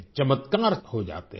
चमत्कार हो जाते हैं